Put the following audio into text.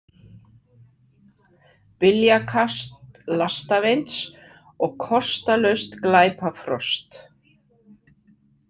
, byljakast lastavinds og kostalaust glæpa frost